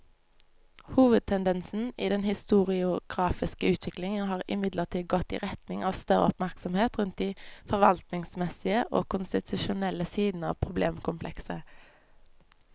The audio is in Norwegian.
Hovedtendensen i den historiografiske utviklingen har imidlertid gått i retning av større oppmerksomhet rundt de forvaltningsmessige og konstitusjonelle sidene av problemkomplekset.